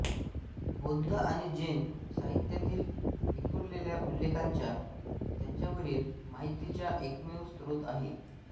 बौद्ध आणि जैन साहित्यातील विखुरलेल्या उल्लेखांचा त्यांच्यावरील माहितीचा एकमेव स्रोत आहे